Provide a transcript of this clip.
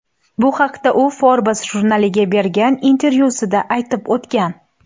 Bu haqda u Forbes jurnaliga bergan intervyusida aytib o‘tgan .